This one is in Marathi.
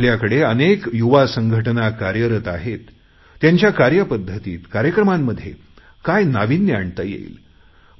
आपल्याकडे अनेक युवा संघटना कार्यरत आहेत त्यांच्या कार्यपद्धतीत कार्यक्रमांमध्ये काय नाविन्य आणता येईल